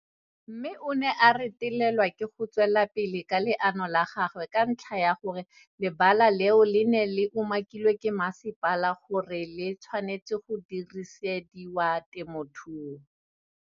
Mme o ne a retelelwa ke go tswela pele ka leano la gagwe ka ntlha ya gore le bala leo le ne le umakilwe ke masepala gore le tshwanetse go dirisediwa temothuo.